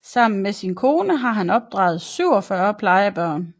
Sammen med sin kone har han opdraget 47 plejebørn